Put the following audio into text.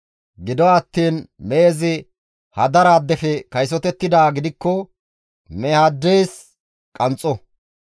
Gido attiin mehezi hadaraaddefe kaysotettidaa gidikko mehaaddes qanxxo.